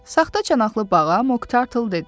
Saxta çanaqlı bağa, Moq Tartle dedi.